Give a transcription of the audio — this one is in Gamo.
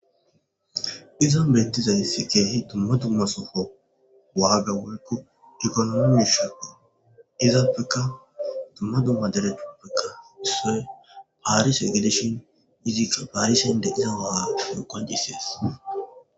izan bentizaysi keehi dumma dumma sofo waaga warko ekonomomishoppo iza peka tumma dumma dere tupekka so paarish egeleshon izika paarishen de iza waar yo qoncisees